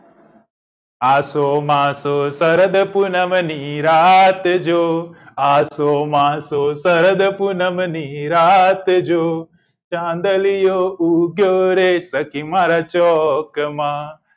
આસો માસો શરદ પૂનમ ની રાત જો આસો માસો શરદ પૂનમ ની રાત જો ચાંદલિયો ઉગ્યો રે સખી મારા ચોક માં